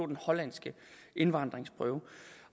den hollandske indvandringsprøve